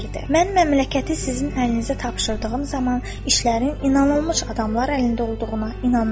Mən məmləkəti sizin əlinizə tapşırdığım zaman işlərin inanılmış adamlar əlində olduğuna inanırdım.